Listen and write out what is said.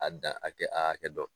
A dan hakɛ a hakɛ dɔn